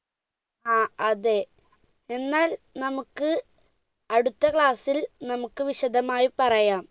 ആ അതെ എന്നാൽ നമ്മുക്ക് അടുത്ത class ൽ നമ്മുക്ക് വിശദമായി പറയാം